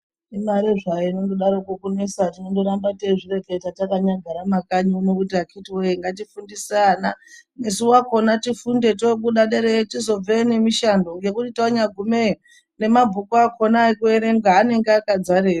Imare zvayo inondodaroko kunesa tinondoramba teizvireketa takanyagara mumakanyi muno kuti akiti woye ngatifundise ana isu wakona tifunde toobude dereyo tisobveyo nemishando ngekuti tanyagumeyo nemabhuku akona ekuenrenga anenge akadzareyo.